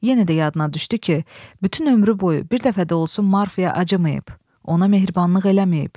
Yenə də yadına düşdü ki, bütün ömrü boyu bir dəfə də olsun Marfaya acımayıb, ona mehribanlıq eləməyib.